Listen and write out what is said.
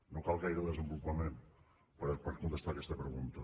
no cal gaire desenvolupament per contestar aquesta pregunta